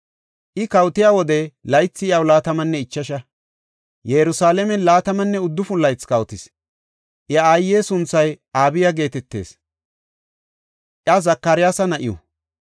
I kawotiya wode laythi iyaw laatamanne ichasha; Yerusalaamen laatamanne uddufun laythi kawotis. Iya aaye sunthay Abiya geetetees; iya Zakaryaasa na7iw.